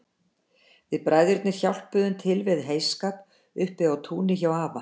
Við bræðurnir hjálpuðum til við heyskap uppi á túni hjá afa